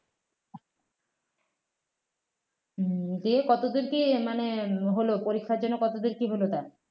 দিয়ে কতদূর কী মানে হলো পরীক্ষার জন্য কতদূর কী হলোটা